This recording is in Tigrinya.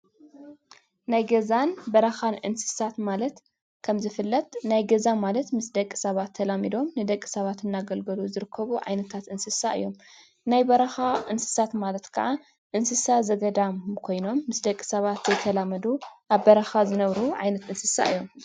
ናይ ገዛን በረካን እንስሳት ማለት ከም ዝፍለጥ ናይ ገዛ ማለት ምስ ደቂ ሳባት ተላሚዶም ንደቂ ሳባት እናገልገሉ ዝርከቡ ዓይነታት እንስስት እዮም፡፡ ናይ በረካ እንስሳት ማለት ካኣ እንስሳ ዘገዳም ኮይኖም ምስ ደቂ ሰባተ ዘይተላመዱ ኣብ በረካ ዝነብሩ ዓይነት እንስሳ እዮም፡፡